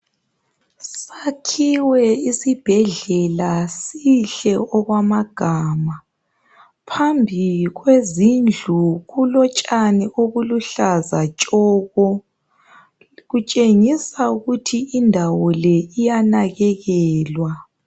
Sakhiwe isibhedlela sihle okwamagama. Phambili kwezindlu kulotshani obuluhlaza tshoko. Kutshengisa ukuthi indawo le iyanakekelwa.